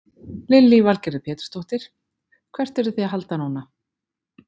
Lillý Valgerður Pétursdóttir: Hvert eruð þið að halda núna?